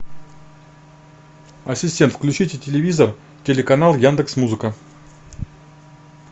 ассистент включите телевизор телеканал яндекс музыка